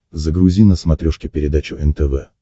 загрузи на смотрешке передачу нтв